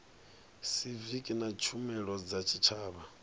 siviki na tshumelo dza tshitshavha